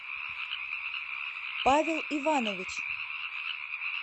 павел иванович